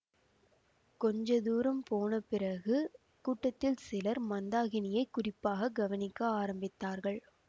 கொஞ்ச தூரம் போன பிறகு கூட்டத்தில் சிலர் மந்தாகினியை குறிப்பாக கவனிக்க ஆரம்பித்தார்கள்